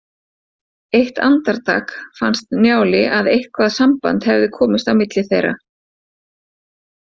Eitt andartak fannst Njáli að eitthvað samband hefði komist á milli þeirra.